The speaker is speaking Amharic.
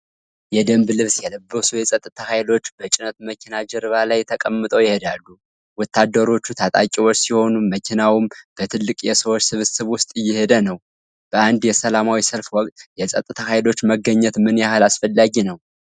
የደንብ ልብስ የለበሱ የጸጥታ ኃይሎች በጭነት መኪና ጀርባ ላይ ተቀምጠው ይታያሉ። ወታደሮቹ ታጣቂዎች ሲሆኑ፣ መኪናውም በትልቅ የሰዎች ስብስብ ውስጥ እየሄደ ነው። በአንድ የሰላማዊ ሰልፍ ወቅት የጸጥታ ኃይሎች መገኘት ምን ያህል አስፈላጊ ነው?